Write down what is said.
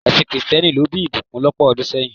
Ẹsìn kìrìsìtẹ́nì ló bí ìbùkún lọ́pọ̀ ọdún sẹ́yìn.